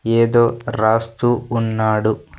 ఏదో రాస్తూ ఉన్నాడు.